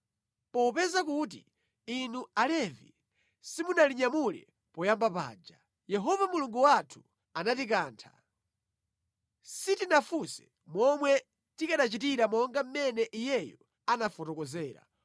Popeza kuti inu Alevi simunalinyamule poyamba paja, Yehova Mulungu wathu anatikantha. Sitinafunse momwe tikanachitira monga mmene Iyeyo anafotokozera.”